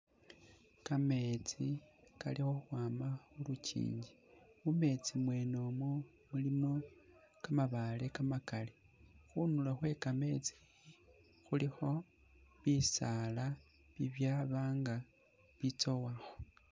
Kameetsi kali khukhwama mu lukinji mumeetsi mwene umu mulimo kamabaale kamakali, khundulo khwe kameetsi khulikho bisaala bibya nga bitsowakho.